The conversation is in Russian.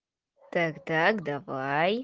тогда давай